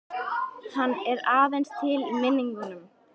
Hann er aðeins til í minningunni.